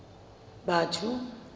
batho